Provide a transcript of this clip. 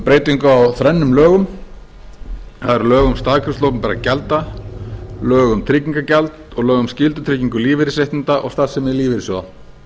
breytingu á þrennum lögum það eru lög um staðgreiðslu opinberra gjalda lög um tryggingagjald og lög um skyldutryggingu lífeyrisréttinda og starfsemi lífeyrissjóða